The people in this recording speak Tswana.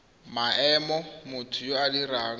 maemo motho yo o dirang